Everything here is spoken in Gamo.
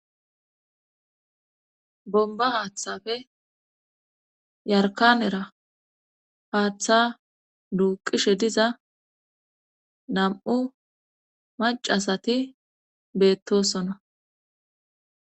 bomba haaththafe yarkanera haaththa duuqishe diza nam7u macasati beettosona